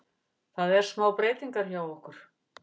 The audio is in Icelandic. Það er smá breytingar hjá okkur.